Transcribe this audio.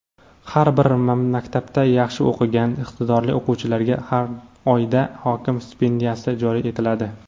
"Har bir maktabda yaxshi o‘qigan iqtidorli o‘quvchilarga har oyda "Hokim stipendiyasi" joriy etiladi.